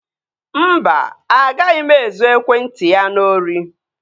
Mba, agaghị m ezu ekwentị ya n'ori